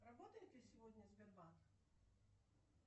работает ли сегодня сбербанк